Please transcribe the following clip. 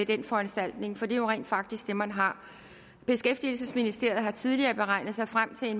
den foranstaltning for det er jo rent faktisk det man har beskæftigelsesministeriet har tidligere beregnet sig frem til